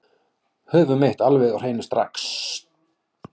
Höfum eitt alveg á hreinu strax